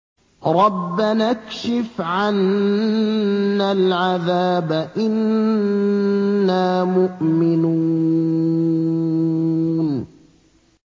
رَّبَّنَا اكْشِفْ عَنَّا الْعَذَابَ إِنَّا مُؤْمِنُونَ